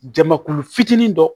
Jamakulu fitinin dɔ